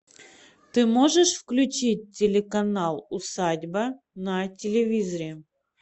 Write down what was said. ты можешь включить телеканал усадьба на телевизоре